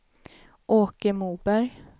Åke Moberg